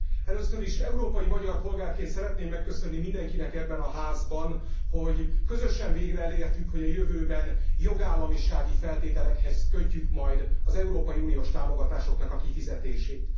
Először is európai magyar polgárként szeretném megköszönni mindenkinek ebben a házban, hogy közösen végre elértük, hogy a jövőben jogállamisági feltételekhez kötjük majd az európai uniós támogatások kifizetését.